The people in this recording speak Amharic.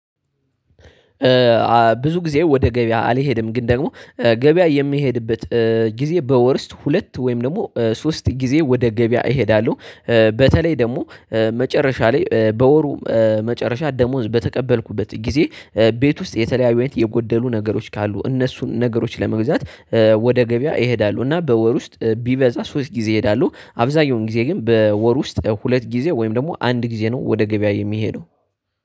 ብዙ ጊዜ ወደ ገበያ አልሄድም ግን ደግሞ ገበያ የሚሄድበት ጊዜ በወር ውስጥ ሁለት ወይም ደግሞ ሶስት ጊዜ ወደ ገበያ እሄዳለሁ። በተለይ ደግሞ መጨረሻ ላይ በወሩ መጨረሻ ደሞዝ በተቀበልኩበት ጊዜ ቤት ውስጥ የተለያዩ የጎደሉ ነገሮች ካሉ እነሱን ነገሮች ለመግዛት ወደ ገበያ እሄዳለሁ። እና በወር ውስጥ ቢበዛ ሶስት ጊዜ እሄዳለሁ። አብዛኛውን ጊዜ ግን በወር ውስጥ ሁለት ጊዜ ወይም ደግሞ አንድ ጊዜ ነው ወደ ገበያ የምሄደው